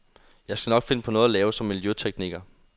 Jeg skal nok finde på noget at lave som miljøtekniker.